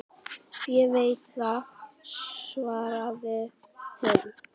Ég veit það, svaraði hinn.